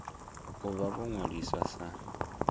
u vha vho ṅwaliswa sa